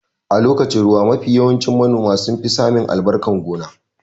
A lokacin ruwa mafi yawanci manoma sun fi samin albarkan gona